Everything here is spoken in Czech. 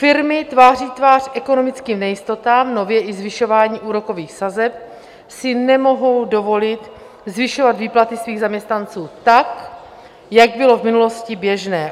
Firmy tváří tvář ekonomickým nejistotám, nově i zvyšování úrokových sazeb, si nemohou dovolit zvyšovat výplaty svých zaměstnanců tak, jak bylo v minulosti běžné.